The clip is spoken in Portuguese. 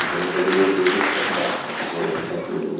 Então, para fazer minhas músicas, eu toco baixo, toco violão, toco